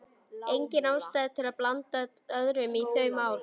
Engin ástæða til að blanda öðrum í þau mál.